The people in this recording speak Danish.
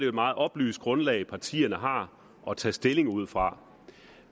et meget oplyst grundlag partierne har at tage stilling ud fra